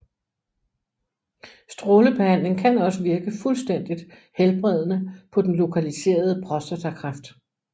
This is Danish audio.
Strålebehandling kan også virke fuldstændigt helbredende på den lokaliserede prostatakræft